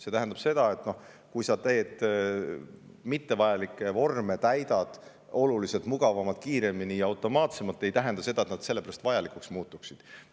See, kui sa saad täita ebavajalikke vorme oluliselt mugavamalt, kiiremini ja automaatsemalt, ei tähenda, et nad sellepärast vajalikuks muutuksid.